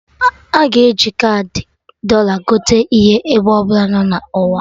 Aga e ji kaadị Dọla gote ihe ebe ọbụla nọ na ụwa